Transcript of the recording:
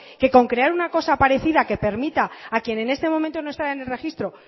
que con crear una cosa parecida que permita a quien en este momento no está en el registro